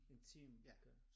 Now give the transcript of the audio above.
En time okay